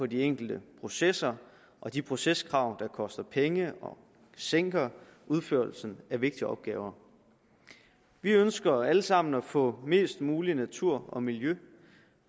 de enkelte processer og de proceskrav der koster penge og sinker udførelsen af vigtige opgaver vi ønsker alle sammen at få mest mulig natur og miljø